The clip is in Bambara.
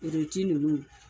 Iriti ninnu